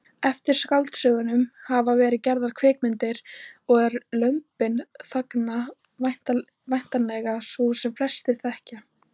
Eftir skáldsögunum hafa verið gerðar kvikmyndir og er Lömbin þagna væntanlega sú sem flestir þekkja.